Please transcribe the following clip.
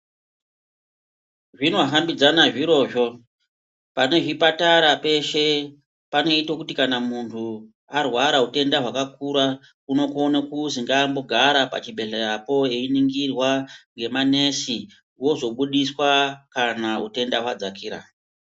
Zvinohambidzana zvirozvo. Pane zvipatara peshe panoite kuti kana munhu arwara utenda hwakakura unokone kuzi ngambigara pachibhedhleyapo einingirwa ngemanesi ozobudiswa kana utenda hwadzakira.